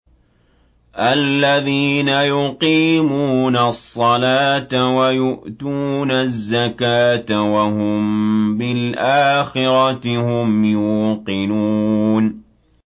الَّذِينَ يُقِيمُونَ الصَّلَاةَ وَيُؤْتُونَ الزَّكَاةَ وَهُم بِالْآخِرَةِ هُمْ يُوقِنُونَ